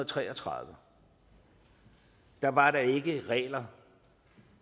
tre og tredive var der ikke regler